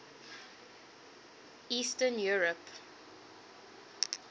eastern europe